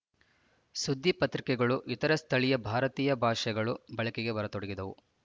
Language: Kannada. ಸುದ್ದಿ ಪತ್ರಿಕೆಗಳೂ ಇತರ ಸ್ಥಳೀಯ ಭಾರತೀಯ ಭಾಷೆಗಳು ಬಳಕೆಗೆ ಬರತೊಡಗಿದವು